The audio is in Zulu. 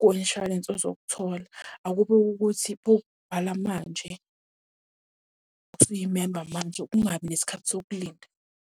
kwe-inshwarensi ozokuthola. Akube kukuthi bokubhala manje, usuyimemba manje, kungabi nesikhathi sokulinda.